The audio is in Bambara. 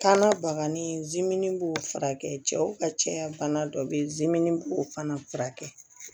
Kanna bagani b'o furakɛ cɛw ka cɛya bana dɔ bɛ yen b'o fana furakɛ